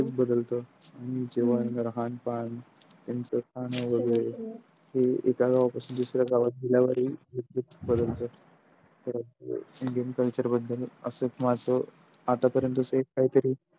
बदलत जेव्हा राहाण पाण त्यांचा खान वगेरे हे एका गावापासून दुसऱ्या गावात गेल्यावरहि बदलत तर indian Culture बद्दल असच माझ आतापर्यंतच एक काहीतरी.